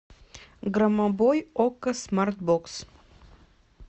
громобой окко смарт бокс